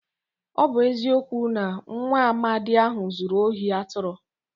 Ọ bụ eziokwu na nwaamadi ahụ zuru ohi atụrụ.